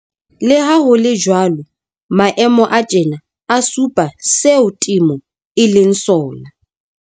Le ha ho le jwalo, maemo a tjena a supa seo temo e leng sona.